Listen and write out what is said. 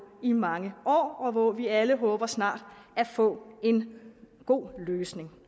i mange år og hvor vi alle håber snart at få en god løsning